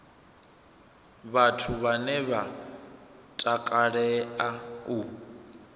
vhathu vhane vha takalea u